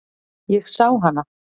Ég sá hana.